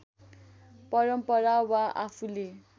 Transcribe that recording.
परम्परा वा आफूले